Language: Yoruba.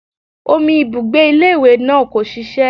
Omi ibùgbé ilé ìwé náà kò ṣiṣẹ́